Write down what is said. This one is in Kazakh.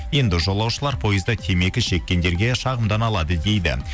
енді жолушылар пойызда темекі шеккендерге шағымдана алады дейді